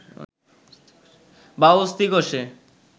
বা অস্থিকোষে